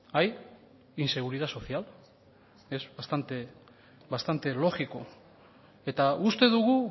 hay inseguridad social es bastante lógico eta uste dugu